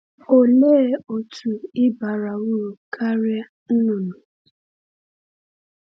Òlee otú ị bara uru karịa nnụnụ?